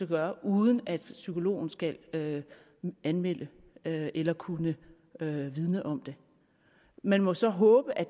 gøre uden at psykologen skal anmelde eller kunne vidne om det man må så håbe at